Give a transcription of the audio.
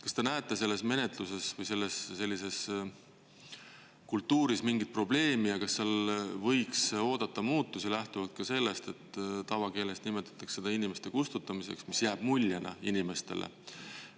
Kas te näete selles menetluses või sellises kultuuris mingit probleemi ja kas seal võiks oodata muutusi lähtuvalt ka sellest, et tavakeeles nimetatakse seda inimeste kustutamiseks, mis jääb muljena inimestele?